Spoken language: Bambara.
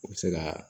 U bɛ se ka